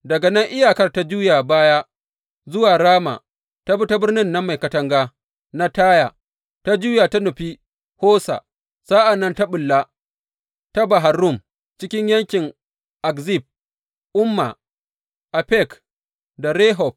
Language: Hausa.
Daga nan iyakar ta juya baya zuwa Rama, ta bi ta birnin nan mai katanga na Taya, ta juya ta nufi Hosa, sa’an nan ta ɓulla ta Bahar Rum cikin yankin Akzib, Umma, Afek da Rehob.